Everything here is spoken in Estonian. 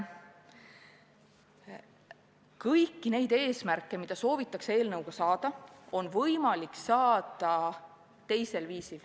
Kõiki neid eesmärke, mida soovitakse saavutada, on võimalik saavutada teisel viisil.